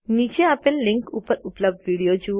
નીચે આપેલ લીંક ઉપર ઉપલબ્ધ વિડીઓ જુઓ